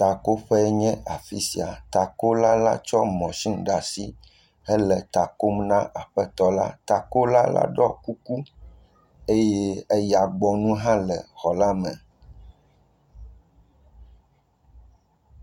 Takoƒe nye afi sia. Takola la tsɔ mɔsini ɖe asi hele ta kom na aƒetɔ la la. Takola la ɖɔ kuku eye eyagbɔnu hã le xɔ la me.